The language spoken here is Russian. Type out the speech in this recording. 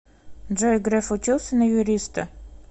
джой греф учился на юриста